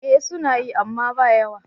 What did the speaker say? Eh suna yi, amma ba yawa.